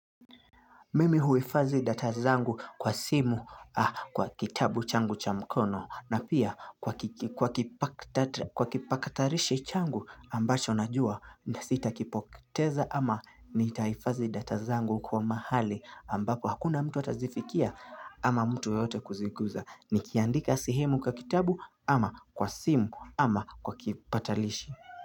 Mimi huifazi data zangu kwa simu kwa kitabu changu cha mkono na pia kwa kipakatarishi changu ambacho najua nita sita kipokiteza ama nitaifazi data zangu kwa mahali ambako hakuna mtu atazifikia ama mtu yote kuzikuza ni kiandika sehemu kwa kitabu ama kwa simu ama kwa kipatalishi.